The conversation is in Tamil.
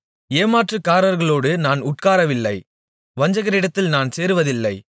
ஏமாற்றுக்காரர்களோடு நான் உட்காரவில்லை வஞ்சகரிடத்தில் நான் சேருவதில்லை